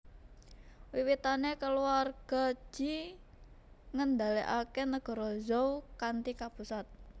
Wiwitané kulawarga Ji ngendhalèkaké nagara Zhou kanthi kapusat